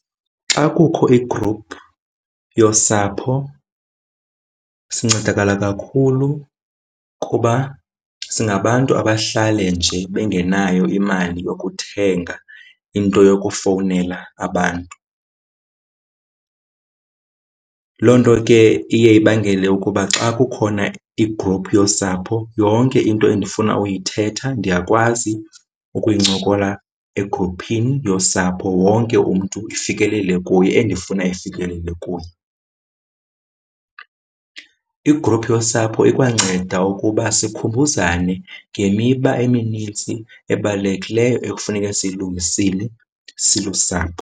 Xa kukho igruphu yosapho sincedakala kakhulu kuba singabantu abahlale nje bengenayo imali yokuthenga into yokufowunela abantu. Loo nto ke iye ibangele ukuba xa kukhona igruphu yosapho yonke into endifuna uyithetha ndiyakwazi ukuyincokola egruphini yosapho, wonke umntu ifikelele kuye endifuna ifikelele kuye. Igruphu yosapho ikwanceda ukuba sikhumbuzane ngemiba eminintsi ebalulekileyo ekufuneke siyilungisile silusapho.